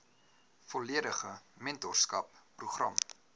volledige mentorskap program